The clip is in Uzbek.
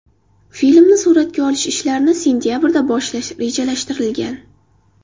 Filmni suratga olish ishlarini sentabrda boshlash rejalashtirilgan.